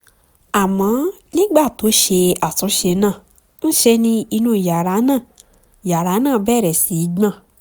àmọ́ nígbà tó ṣe àtúnṣe náà ńṣe ni inú yàrá náà yàrá náà bẹ̀rẹ̀ sí í gbọ̀n